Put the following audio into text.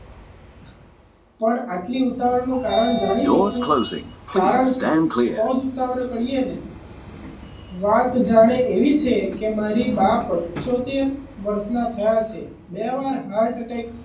પણ આટલી ઉતાવળ નું કારણ જાણી શકું કારણ છે તો જ ઉતાવળ કરીએ ને વાત જાણે એવી છે કે મારી બાપ પંચોતેર વર્ષના થયા છે બે ત્રણ heart attack,